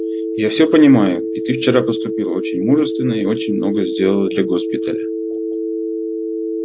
я всё понимаю и ты вчера поступила очень мужественно и очень много сделала для госпиталя